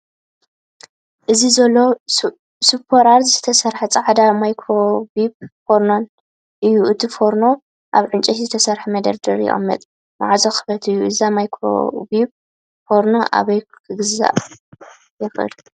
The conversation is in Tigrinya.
እዚ ዘሎ ብሱፕራ ዝተሰርሐ ጻዕዳ ማይክሮዌቭ ፎርኖ እዩ። እቲ ፎርኖ ኣብ ዕንጨይቲ ዝተሰርሐ መደርደሪ ይቕመጥ፣ ማዕጾ ክፉት እዩ። እዛ ማይክሮዌቭ ፎርኖ ኣበይ ክገዝኣ ይኽእል?